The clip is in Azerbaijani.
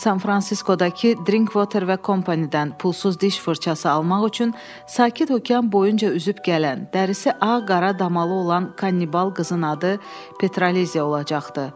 San-Fransiskodakı Drinkwater və Kompanydən pulsuz diş fırçası almaq üçün sakit okean boyunca üzüb gələn, dərisi ağ-qara damalı olan kannibal qızın adı Petraliziya olacaqdı.